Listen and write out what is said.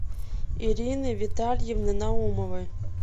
ирины витальевны наумовой